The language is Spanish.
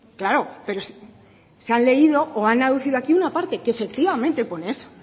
claro pero se han leído o han aducido aquí una parte que efectivamente pone eso